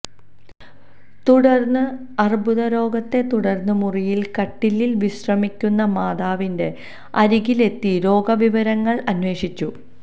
തുടര്ന്ന് അര്ബുദ രോഗത്തെ തുടര്ന്ന് മുറിയില് കട്ടിലില് വിശ്രമിക്കുന്ന മാതാവിന്റെ അരികിലെത്തി രോഗ വിവരങ്ങള് അന്വേഷിച്ചു